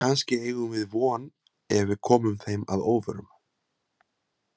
Kannski eigum við von ef við komum þeim að óvörum.